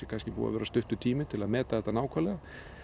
búinn að vera stuttur tími til að meta þetta nákvæmlega